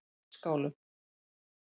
Útskálum